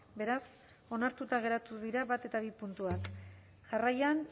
beraz onartuta geratu dira bat eta bi puntuak jarraian